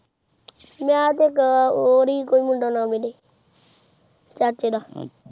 ਮੈ ਤੇਹ ਓਹਰੀ ਚਾਚੇ ਦਾ